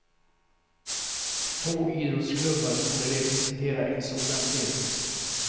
Få idrottsklubbar torde representera en sådan bredd.